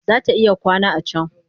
Za ta iya kwana a can